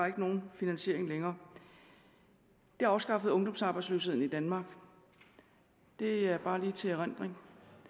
ikke nogen finansiering længere det afskaffede ungdomsarbejdsløsheden i danmark det er bare lige til erindring